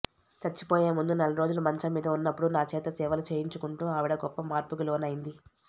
చచ్చిపోయే ముందు నెలరోజులు మంచం మీద ఉన్నప్పుడు నా చేత సేవలు చేయించుకుంటూ ఆవిడ గొప్ప మార్పుకి లోనైంది